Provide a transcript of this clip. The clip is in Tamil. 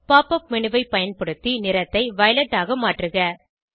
pop up மேனு ஐ பயன்படுத்தி நிறத்தை வயலெட் ஆக மாற்றுக